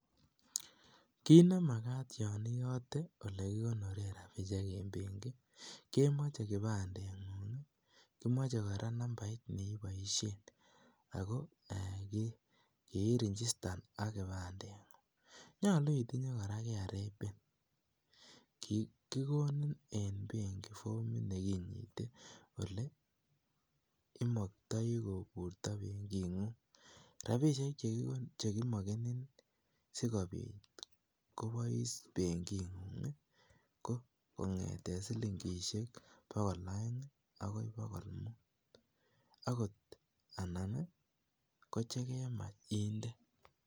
Kiit nemakat olon iyote olekikonoren rabishek en benki kemoche kipandeng'ung, kimoche kora nambait neimuche iboishen ak ko kiirigistan AK kipandeng'ung, yoche kora itinye KRA pin, kikonin en benki fomit neinyite olee imoktoi koburto benking'ung, rabishek chekimokenin sikobit kobois benking'ung ko kong'eten siling'ishek bokol oeng akoi bokol muut akot anan ko chekemach indee.